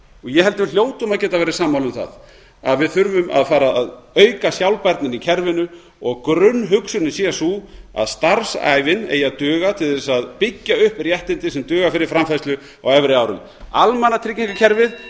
ég held að við hljótum að geta verið sammála um það að við þurfum að fara að auka sjálfbærnina í kerfinu og grunnhugsunin sé sú að starfsævin eigi að duga til þess að byggja upp réttindi sem duga fyrir framfærslu á efri árum almannatryggingakerfið